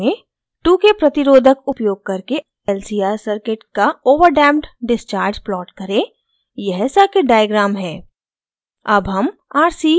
एक नियत कार्य में